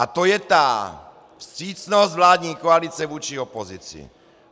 A to je ta vstřícnost vládní koalice vůči opozici!